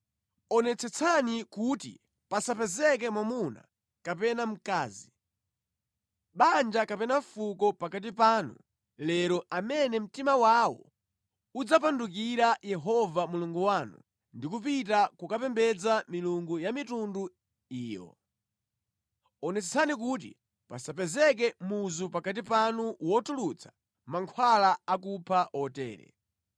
Onetsetsani kuti pasapezeke mwamuna kapena mkazi, banja kapena fuko pakati panu lero amene mtima wawo udzapandukira Yehova Mulungu wanu ndi kupita kukapembedza milungu ya mitundu iyo. Onetsetsani kuti pasapezeke muzu pakati panu wotulutsa mankhwala akupha otere.